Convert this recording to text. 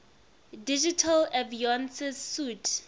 digital avionics suite